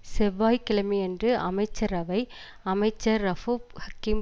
செவ்வாய் கிழமையன்று அமைச்சரவை அமைச்சர் ரவூஃப் ஹக்கீம்